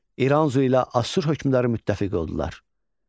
İranzu ilə Assur hökmdarı müttəfiq oldular.